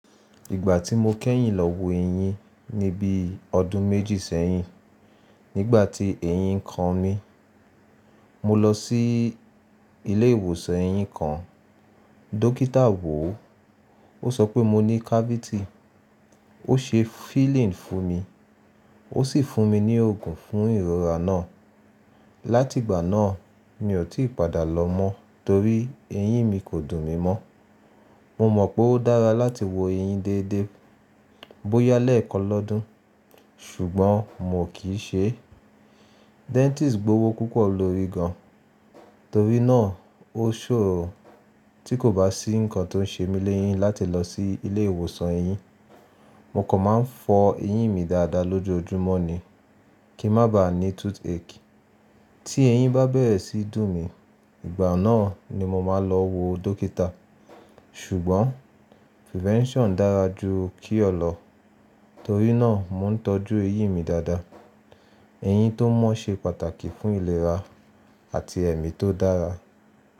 Ìgbà tí mó kẹ́yìn lọ wó eyín ní bí ọdún méjì sẹ́yìn, nígbà tí eyín ń kan mí. Mó lọ sí ilé ìwòsàn èyín kàn. Dókítà wò ó, ó sọ pé mo ní cavity. Ó se filling fún mi, ó sì fún mi ní òògùn fún ìrora náà. Látìgbà náà, mi ò tí padà lọ mọ́ torí eyín mi kò dùn mi mọ́. Mo mọ̀ pé ó dára láti wo eyín déédé bóyá lẹ́ẹ̀kan lọ́dún, ṣùgbọ́n mo kì í ṣe é. Dentist gbowó púpọ̀ lórí gan-an. Toórí náà, ó ṣòro tí kò bá sí nǹkan tó ń ṣe mí léyín láti lọ sí ilé ìwòsàn eyín. Mo kò máa ń fọ eyín mi dáadáa lójoojúmọ́ ni kí má ba ní toothache. Tí eyín bá bẹ̀rẹ̀ sí dùn mí, ìgbà náà ni mo máa lọ wo dókítà. Ṣùgbọ́n prevention dára ju cure lọ, torí náà mó ń tọ́jú eyín mí dáadáa. Eyín tó mọ́ ṣe pàtàkì fún ìlera àti ẹ̀mí tó dára.